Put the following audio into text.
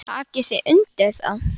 Takið þið undir það?